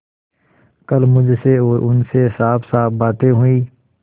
कल मुझसे और उनसे साफसाफ बातें हुई